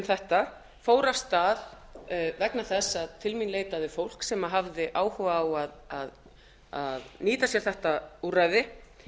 þetta fór af stað vegna þess að til mín leitaði fólk sem hafði áhuga á að nýta sér þetta úrræði